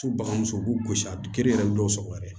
Tu baga muso u b'u gosi a gere yɛrɛ bɛ dɔw sɔgɔ yɛrɛ